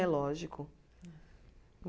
É, lógico.